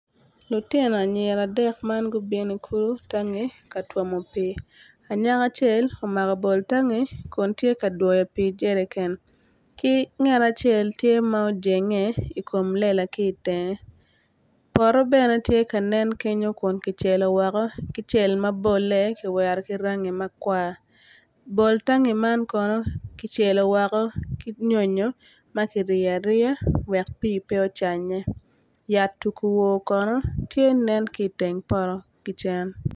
Lutino anyira adek man gutino i kulu ka twomo pii anyaka acel omako bol tangi Kun tye ka twoyo I jeriken ki ngat acel tye ma ojenge I kom lela ki itenge poto bene tye ka nen kenyo Kun kicelo woko ki cel ma bolle ki rangi makwar bol tangi man kono kicelo woko ki nyonyo ma kiryeyo woko wek pii pe ocanye yat tukuwo tye nen ki itenge poto ki cen